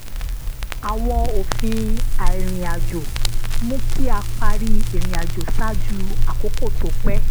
àwọn òfin àìrìnàjò mú kí a parí irinàjò ṣáájú àkókò tó pẹ